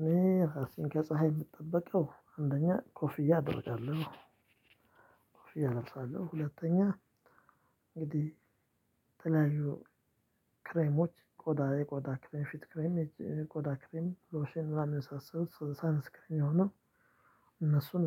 እኔ ራሴን ከፀሀይ የምጠበቀው አንደኛ ኮፍያ አደርጋለሁ። ኮፍያ ነው። ሁለተኛ እንግዲህ ጥላ ያዥው። ክሬሞች ቆዳ የቆዳ ክሬም ፊት ክሬም የቆዳ ክሬም ሎሽን ምናምን የመሳሰሉት ሳንስክሪን የሆነው